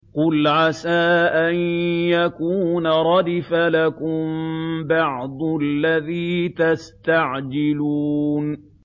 قُلْ عَسَىٰ أَن يَكُونَ رَدِفَ لَكُم بَعْضُ الَّذِي تَسْتَعْجِلُونَ